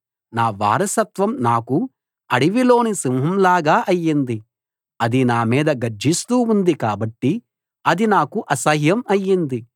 నా వారసత్వం నాకు అడవిలోని సింహంలాగా అయ్యింది అది నా మీద గర్జిస్తూ ఉంది కాబట్టి అది నాకు అసహ్యం అయ్యింది